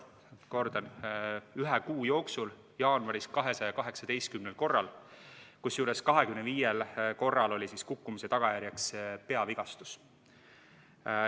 Kordan: ühe kuu jooksul, jaanuaris, 218 korral, kusjuures 25 korral oli kukkumise tagajärjeks peavigastus.